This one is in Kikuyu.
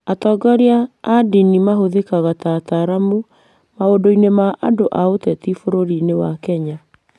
Atongoria a ndini mahũthĩkaga ta ataaramu maũndũ-inĩ ma andũ na ũteti bũrũri-inĩ wa Kenya.